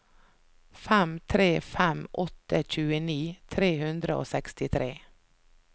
fem tre fem åtte tjueni tre hundre og sekstitre